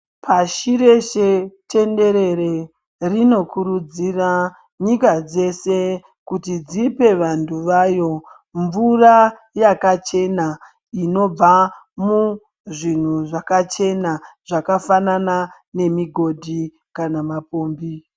Pashi reshe tenderere rinokurudzira nyika dzese kuti dzipe vantu vayo mvura yakachena inobva muzvinhu zvakachena zvakafanana nemugodhi kana mapombi.